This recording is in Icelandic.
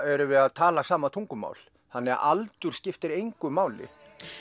erum við að tala sama tungumál þannig að aldur skiptir engu máli